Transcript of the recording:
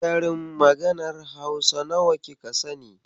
Karin maganar Hausa nawa kika sani?